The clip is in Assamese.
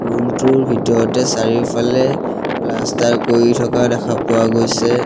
ৰুম টোৰ ভিতৰতে চাৰিওফালে প্লাষ্টাৰ কৰি থকা দেখা পোৱা গৈছে।